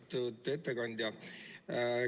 Austatud ettekandja!